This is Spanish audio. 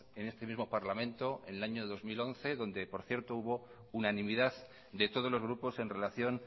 en este mismo parlamento en el año dos mil once donde por cierto hubo unanimidad de todos los grupos en relación